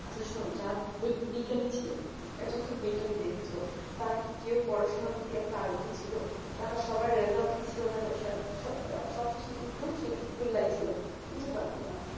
আচ্ছা শোন্ যার যে বিজ্ঞানিক ছিল এইতো তো তুমি বিজ্ঞানিক দেখেছো তারে কে কেউ পড়াশোনা করতে আগ্রহী ছিল তারা সবাই result কি ছিল জানো সো সো সব শেষে কিন্তু সেই গোল্লায় ছিল কিছু করতো না